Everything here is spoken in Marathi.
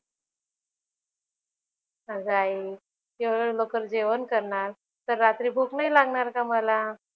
अगं आई एवढे लवकर जेवण करणार तर रात्री भूक नाही लागणार का मला?